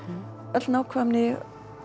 öll nákvæmni